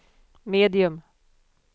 medium